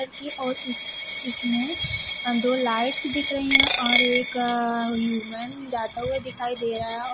कि और इस इसमें दो लाइट्स दिख रही हैं और अअ एक यू मैन जाता हुए दिखाई दे रहा है। और--